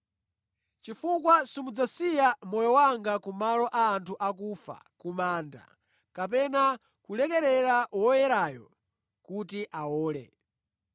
Chifukwa simudzasiya moyo wanga kumalo a anthu akufa, ku manda, kapena kulekerera Woyerayo kuti awole.